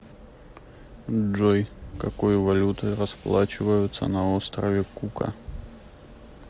джой какой валютой расплачиваются на острове кука